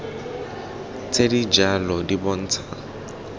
tse di jalo di bontsha